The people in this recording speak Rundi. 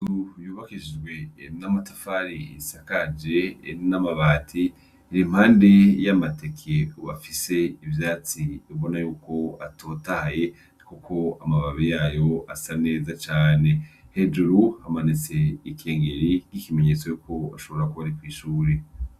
Inzu yubakishijwe n'amatafari isakaje n'amabati iri impande y'amateke afise ivyatsi ubona yuko atotahaye kuko amababi yayo asa neza cane, hejuru hamanitse ikengeri nkikimenyetso yuko ashobora kuba ari kwishure.